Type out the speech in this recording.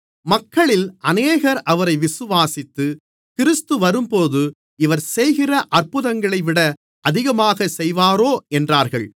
மக்களில் அநேகர் அவரை விசுவாசித்து கிறிஸ்து வரும்போது இவர் செய்கிற அற்புதங்களைவிட அதிகமாகச் செய்வாரோ என்றார்கள்